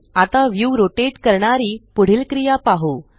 आता view rotate करणारी पुढील क्रिया पाहु